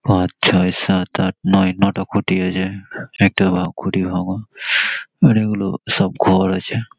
পাঁচ ছয় সাত আট নয় নয়টা খুটি আছে। একটা খুঁটি ভাঙা বাড়িগুলি সব ঘর আছে।